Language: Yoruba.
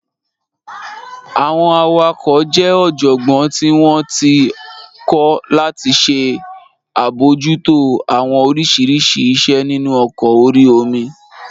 Àwọn awakọ̀ jẹ́ ọ̀jọ̀gbọ́n tí wọ́n ti kọ́ láti ṣe àbojútó àwọn oríṣiríṣi iṣẹ́ nínu ọkọ̀ orí omi